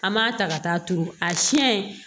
An b'a ta ka taa turu a siɲɛ